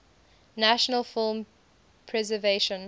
national film preservation